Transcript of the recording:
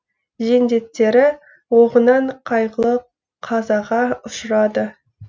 жендеттері оғынан қайғылы қазаға ұшырады